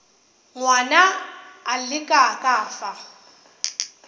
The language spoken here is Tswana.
ngwana a le ka fa